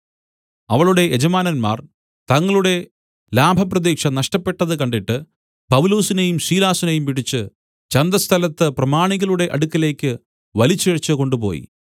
അവളുടെ യജമാനന്മാർ തങ്ങളുടെ ലാഭപ്രതീക്ഷ നഷ്ടപ്പെട്ടത് കണ്ടിട്ട് പൗലൊസിനെയും ശീലാസിനെയും പിടിച്ച് ചന്തസ്ഥലത്ത് പ്രമാണികളുടെ അടുക്കലേക്ക് വലിച്ചിഴച്ച് കൊണ്ടുപോയി